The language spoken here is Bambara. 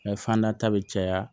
fanda ta bɛ caya